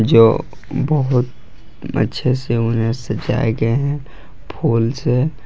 जो बहुत अच्छे से उन्हें सजाया गया है फूल से।